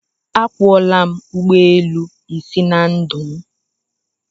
Akwọọla m ụgbọelu isii na ndụ m